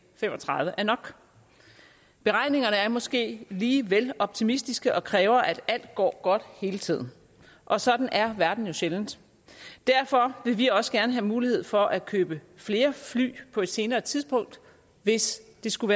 fem og tredive er nok beregningerne er måske lige vel optimistiske og kræver at alt går godt hele tiden og sådan er verden jo sjældent derfor vil vi også gerne have mulighed for at købe flere fly på et senere tidspunkt hvis det skulle